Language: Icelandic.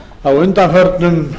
á undanförnum